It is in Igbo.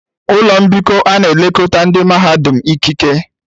Ụlọ mbikọ a na-elekọta ndị mahadum ikike.